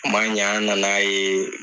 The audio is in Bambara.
a ma ɲa an nan'a ye